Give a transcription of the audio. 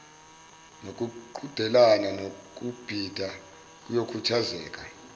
nokuqhudelana ngokubhida kuyokhuthazeka